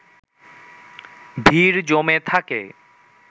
ভিড় জমে থাকে